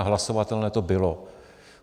A hlasovatelné to bylo.